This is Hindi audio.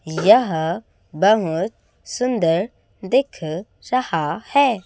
यह बहोत सुंदर दिख रहा है।